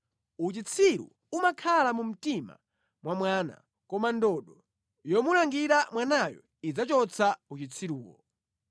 Uchitsiru umakhala mu mtima mwa mwana, koma ndodo yomulangira mwanayo idzachotsa uchitsiruwo.